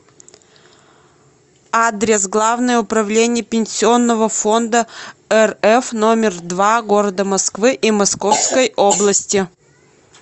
адрес главное управление пенсионного фонда рф номер два г москвы и московской области